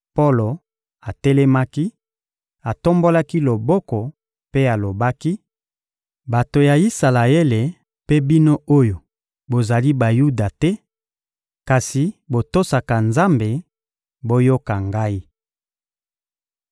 Polo atelemaki, atombolaki loboko mpe alobaki: — Bato ya Isalaele mpe bino oyo bozali Bayuda te kasi botosaka Nzambe, boyoka ngai!